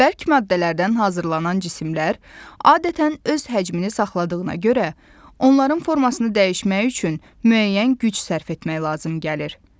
Bərk maddələrdən hazırlanan cisimlər adətən öz həcmini saxladığına görə, onların formasını dəyişmək üçün müəyyən güc sərf etmək lazım gəlir.